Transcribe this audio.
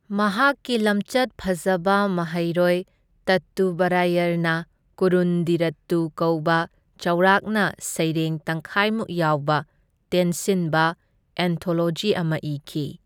ꯃꯍꯥꯛꯀꯤ ꯂꯝꯆꯠ ꯐꯖꯕ ꯃꯍꯩꯔꯣꯏ ꯇꯠꯇꯨꯕꯔꯥꯌꯔꯅ ꯀꯨꯔꯨꯟꯗꯤꯔꯠꯇꯨ ꯀꯧꯕ ꯆꯥꯎꯔꯥꯛꯅ ꯁꯩꯔꯦꯡ ꯇꯪꯈꯥꯏꯃꯨꯛ ꯌꯥꯎꯕ ꯇꯦꯟꯁꯤꯟꯕ ꯑꯦꯟꯊꯣꯂꯣꯖꯤ ꯑꯃ ꯏꯈꯤ꯫